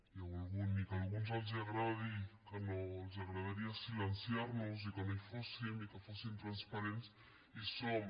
i ni que a alguns els agradi que no que els agradaria silenciar nos i que no hi fóssim i que fóssim transparents hi som